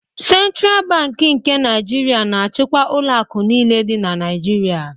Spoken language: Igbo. Sentral Bankị nke Naịjirịa na-achịkwa ụlọ akụ niile dị na Naịjirịa.